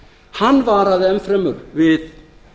hann varaði enn fremur við